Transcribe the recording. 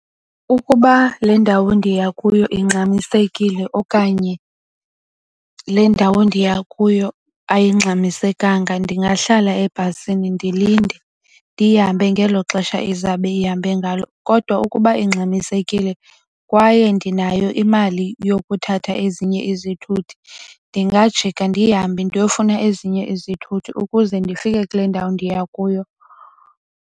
Ukuba le ndawo ndiya kuyo ingxamisekile okanye le ndawo ndiya kuyo ayingxamisekanga ndingahlala ebhasini ndilinde ndihambe ngelo xesha izawube ihambe ngalo. Kodwa ukuba ingxamisekile kwaye ndinayo imali yokuthatha ezinye izithuthi ndingajika ndihambe ndiyofuna ezinye izithuthi ukuze ndifike kule ndawo ndiya kuyo.